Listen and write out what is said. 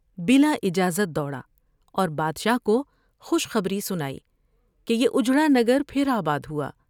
بلا اجازت دوڑا اور بادشاہ کو خوش خبری سنائی کہ یہ اجڑا نگر پھر آباد ہوا ۔